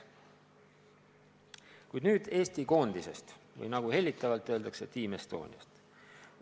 Räägin aga Eesti koondisest ehk, nagu hellitavalt öeldakse, Team Estoniast.